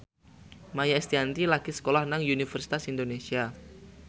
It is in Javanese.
Maia Estianty lagi sekolah nang Universitas Indonesia